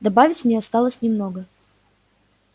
добавить мне осталось немного